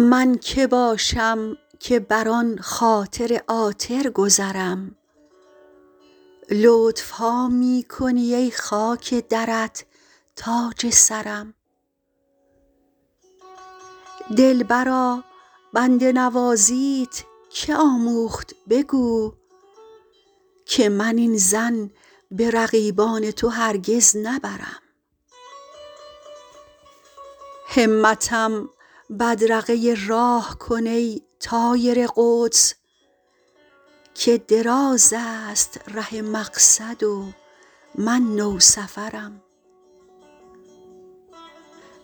من که باشم که بر آن خاطر عاطر گذرم لطف ها می کنی ای خاک درت تاج سرم دلبرا بنده نوازیت که آموخت بگو که من این ظن به رقیبان تو هرگز نبرم همتم بدرقه راه کن ای طایر قدس که دراز است ره مقصد و من نوسفرم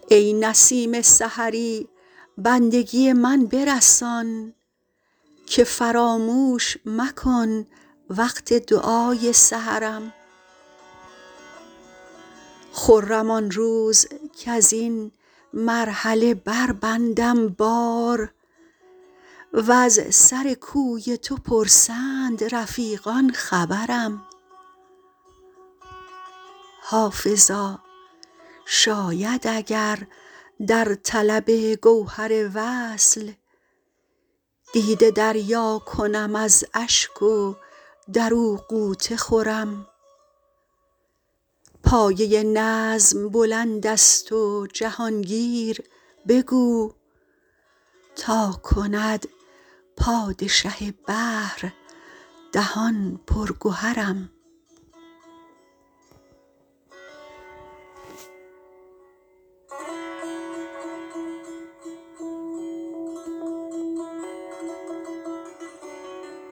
ای نسیم سحری بندگی من برسان که فراموش مکن وقت دعای سحرم خرم آن روز کز این مرحله بربندم بار و از سر کوی تو پرسند رفیقان خبرم حافظا شاید اگر در طلب گوهر وصل دیده دریا کنم از اشک و در او غوطه خورم پایه نظم بلند است و جهان گیر بگو تا کند پادشه بحر دهان پر گهرم